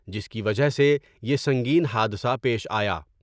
جس کی وجہ سے یہ سنگین حادثہ پیش آیا ۔